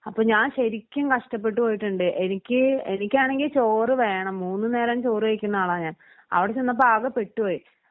അപ്പം ഞാൻ ശരിക്കും കഷ്ടപ്പെട്ട് പോയിട്ടുണ്ട് എനിക്ക് എനിക്കാണെങ്കിൽ ചോറു വേണം മൂന്നുനേരം ചോറ് കഴിക്കുന്ന ആളാ ഞാൻ അവിടെ ചെന്നപ്പോ ആകെ പെട്ടുപോയി.